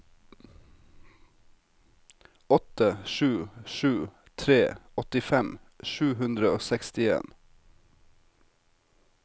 åtte sju sju tre åttifem sju hundre og sekstien